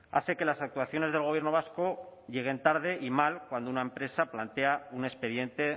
hace que las actuaciones del gobierno vasco lleguen tarde y mal cuando una empresa plantea un expediente